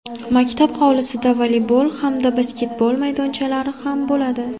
Maktab hovlisida voleybol hamda basketbol maydonchalari ham bo‘ladi.